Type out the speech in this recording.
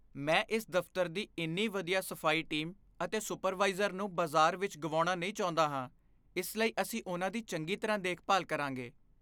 ਮੈਂ ਇਸ ਦਫਤਰ ਦੀ ਇੰਨੀ ਵਧੀਆ ਸਫਾਈ ਟੀਮ ਅਤੇ ਸੁਪਰਵਾਈਜ਼ਰ ਨੂੰ ਬਾਜ਼ਾਰ ਵਿੱਚ ਗੁਆਉਣਾ ਨਹੀਂ ਚਾਹੁੰਦਾ ਹਾਂ। ਇਸ ਲਈ, ਅਸੀਂ ਉਨ੍ਹਾਂ ਦੀ ਚੰਗੀ ਤਰ੍ਹਾਂ ਦੇਖਭਾਲ ਕਰਾਂਗੇ।